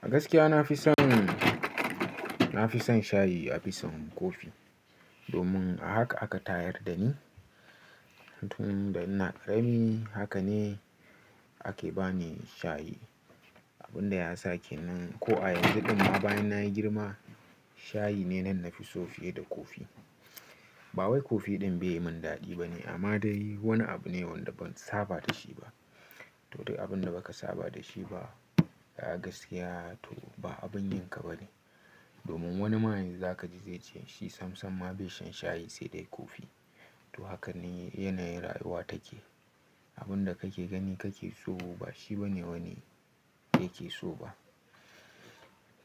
A gaskiya na fi son, na fi son shayi a fi son kofi domin a haka aka tayar da ni. Tun da ina ƙarami haka ne ake bani shayi, abin da ya sake ni. Ko a yanzu kuma bayan nayi girma shayi ne na nan fi so fiye da kofi. Ba wai kofi ɗin bai yi min daɗi bane amma dai wani abu ne wanda ban saba da shi ba. To duk abin da ba ka saba da shi ba a gaskiya to ba abun yinka bane. Domin wani ma yanzu za ka ji zai ce shi samsam ma bai shan shayi sai dai kofi. To haka ne yanayin rayuwa take. Abin da kake gani kake so ba shi bane wani yake so ba.